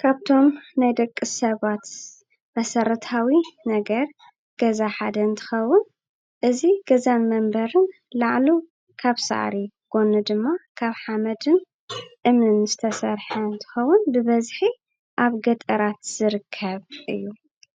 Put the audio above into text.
ካብ እቶም ናይ ደቂ ሰባት መሰረታዊ ነገር ገዛ ሓደ እንትኸውን፣ እዚ ገዛን መንበርን ላዕሉ ካብ ሳዕሪ፣ ጎኑ ድማ ካብ ሓመድን እምንን ዝተሰርሐ እንትኸውን፣ ብበዝሒ ኣብ ገጠራት ዝርከብ እዩ፡፡